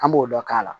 An b'o dɔ k'a la